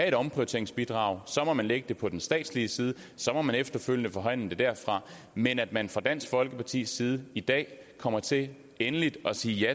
et omprioriteringsbidrag må man lægge det på den statslige side og så må man efterfølgende forhandle den derfra men at man fra dansk folkepartis side i dag kommer til endeligt at sige